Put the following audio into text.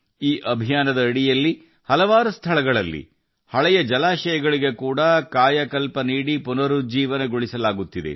ಈ ಅಭಿಯಾನದ ಅಡಿಯಲ್ಲಿ ಅನೇಕ ಸ್ಥಳಗಳಲ್ಲಿ ಹಳೆಯ ಜಲಮೂಲಗಳನ್ನು ಪುನರುಜ್ಜೀವನಗೊಳಿಸಲಾಗುತ್ತಿದೆ